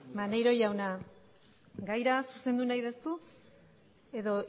maneiro jauna gaira zuzendu nahi duzu edo